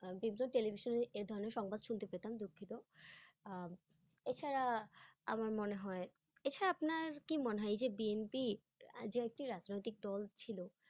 আহ বিভিন্ন television -এ এই ধরণের সংবাদ শুনতে পেতাম দুঃখিত। আহ এছাড়া আমার মনে হয়, এছাড়া আপনার কি মনে হয় এই যে BNP আহ যে একটি রাজনৈতিক দল ছিলো